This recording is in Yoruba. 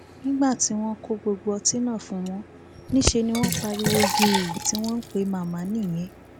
nígbà tí wọn kó gbogbo ọtí náà fún wọn níṣẹ ni wọn pariwo gèè tí wọn ń pe màmá nìyẹn